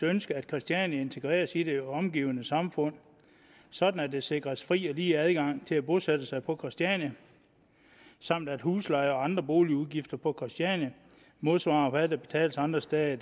ønske at christiania integreres i det omgivende samfund sådan at der sikres en fri og lige adgang til at bosætte sig på christiania samt at huslejer og andre boligudgifter på christiania modsvarer det der betales andre steder